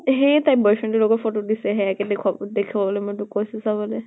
সেয়ে তাই boy friend ৰ লগত photo দিছে সেয়াকে দেখুৱাব দেখুৱাবলৈ মই তোক কৈছো চাবলে।